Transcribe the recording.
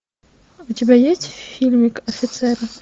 у тебя есть фильмик офицеры